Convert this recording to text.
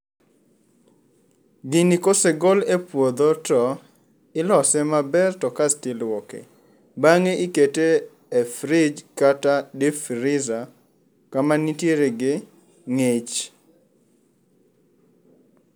Gini kosegol e puodho to ilose maber to kasto iluoke. Bang'e ikete e fridge kata deep freezer kama nitiere gi ng'ich.